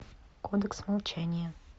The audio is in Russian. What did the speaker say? кодекс молчания